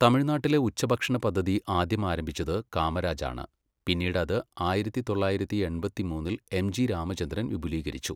തമിഴ്നാട്ടിലെ ഉച്ചഭക്ഷണ പദ്ധതി ആദ്യം ആരംഭിച്ചത് കാമരാജാണ്, പിന്നീട് അത് ആയിരത്തി തൊള്ളായിരത്തി എൺപത്തിമൂന്നിൽ എംജി രാമചന്ദ്രൻ വിപുലീകരിച്ചു.